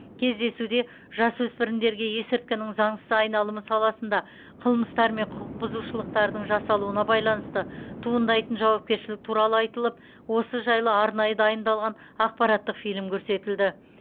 кездесуде жасөспірімдерге есірткінің заңсыз айналымы саласында қылмыстар мен құқық бұзушылықтардың жасалуына байланысты туындайтын жауапкершілік туралы айтылып осы жайлы арнайы дайындалған ақпараттық фильм көрсетілді